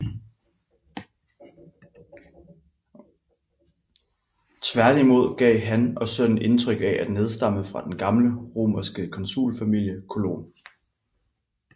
Tværtimod gav han og sønnen indtryk af at nedstamme fra den gamle romerske konsulfamilie Colon